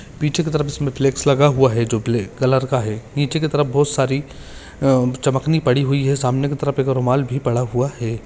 पीछे की तरफ इसमे फ़्लेक्स लगा हुआ है जो ब्लॅक कलर का है नीचे की तरफ बहुत सारी चमकनी पड़ी हुई है सामने तरफ एक रुमाल भी पड़ा हुआ है।